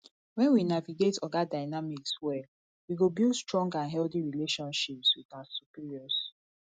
when we navigate oga dynamics well we go build strong and healthy relationships with our superiors